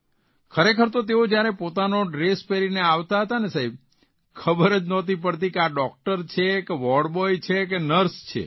ખરેખર તો તેઓ જયારે પોતાનો ડ્રેસ પહેરીને આવતા હતા ને સાહેબ ખબર જ નહોતી પડતી કે આ ડૉકટર છે કે વોર્ડ બોય છે કે નર્સ છે